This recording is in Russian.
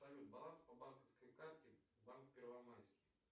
салют баланс по банковской карте банк первомайский